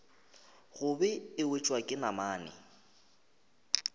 gobe e wetšwa ke namane